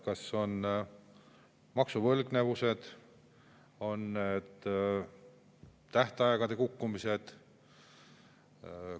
Kas on maksuvõlgnevused, on need tähtaegade kukkumised?